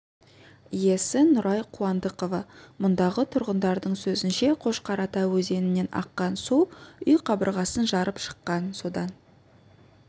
иесі нұрай қуандықова мұндағы тұрғындардың сөзінше қошқарата өзенінен аққан су үй қабырғасын жарып шыққан содан